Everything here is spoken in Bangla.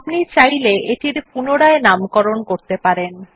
আপনি চাইলে এটির পুনরায় নামকরণ করতে পারেন